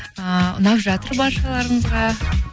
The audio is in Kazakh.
ыыы ұнап жатыр баршаларыңызға